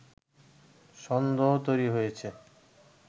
সন্দেহ তৈরি হয়েছে”